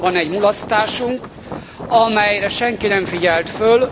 Van azonban egy mulasztásunk, amelyre senki nem figyelt föl.